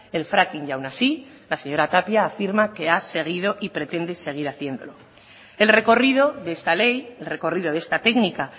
el fracking y aun así la señora tapia afirma que ha seguido y pretende seguir haciéndolo el recorrido de esta ley el recorrido de esta técnica